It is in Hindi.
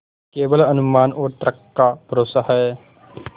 केवल अनुमान और तर्क का भरोसा है